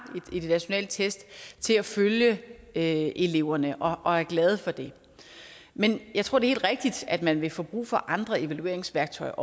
i de nationale test til at følge eleverne og er glad for det men jeg tror det helt rigtigt at man også vil få brug for andre evalueringsværktøjer